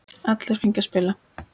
Allir fengu að spila.